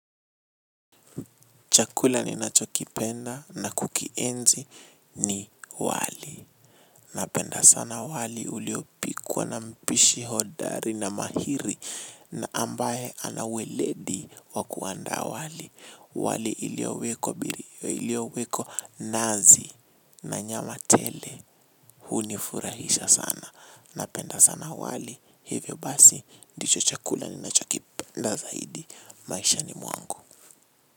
Chakula ni nacho kipenda na kukienzi ni wali. Napenda sana wali uliopikuwa na mpishi hodari na mahiri na ambaye anaweledi wakuanda wali. Wali iliowekwa nazi na nyama tele hunifurahisha sana. Napenda sana wali. Hivyo basi ndicho chakula ni nacho kipenda zaidi. Maishani mwangu.